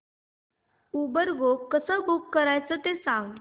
Uber go कसं book करायचं ते सांग